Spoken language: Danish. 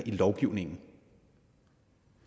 i lovgivningen